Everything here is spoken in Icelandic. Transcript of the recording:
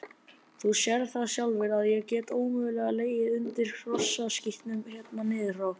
Þú sérð það sjálfur að ég get ómögulega legið undir hrossaskítnum hérna niður frá.